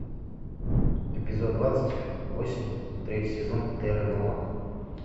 эпизод двадцать восемь третий сезон терра нова